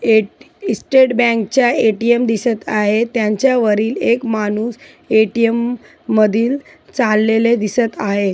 Eight state बँकेचा ATM दिसत आहे. त्यांच्या वरील एक माणूस ए_टी_म मधी चालेल दिसत आहे.